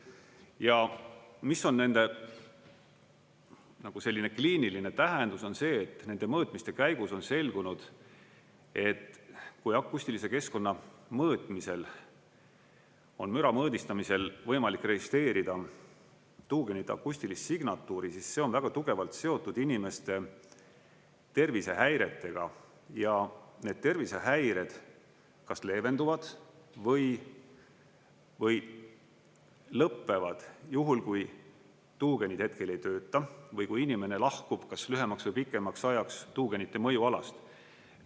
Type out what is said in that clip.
Ja mis on nende nagu selline kliiniline tähendus, on see, et nende mõõtmiste käigus on selgunud, et kui akustilise keskkonna mõõtmisel on müra mõõdistamisel võimalik registreerida tuugenite akustilist signatuuri, siis see on väga tugevalt seotud inimeste tervisehäiretega ja need tervisehäired kas leevenduvad või lõpevad juhul, kui tuugenid hetkel ei tööta või kui inimene lahkub kas lühemaks või pikemaks ajaks tuugenite mõjualast.